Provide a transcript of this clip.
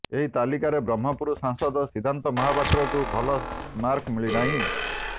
ଏହି ତାଲିକାରେ ବ୍ରହ୍ମପୁର ସାଂସଦ ସିଦ୍ଧାନ୍ତ ମହାପାତ୍ରଙ୍କୁ ଭଲ ମାର୍କ ମିଳିନାହିଁ